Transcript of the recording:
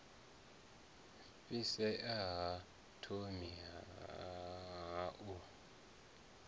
fhisea ha thomi ha u